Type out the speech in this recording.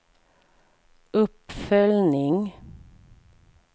uppföljning